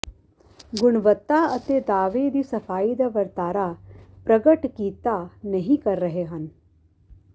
ਗੁਣਵੱਤਾ ਅਤੇ ਦਾਅਵੇ ਦੀ ਸਫਾਈ ਦਾ ਵਰਤਾਰਾ ਪ੍ਰਗਟ ਕੀਤਾ ਨਹੀ ਕਰ ਰਹੇ ਹਨ